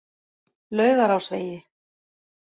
Laugarásvegi